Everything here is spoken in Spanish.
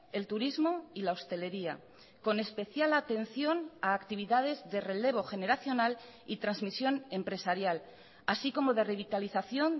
el turismo y la hostelería con especial atención a actividades de relevo generacional y transmisión empresarial así como de revitalización